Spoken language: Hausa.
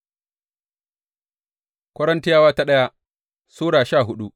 daya Korintiyawa Sura goma sha hudu